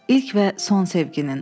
İlk və son sevginin.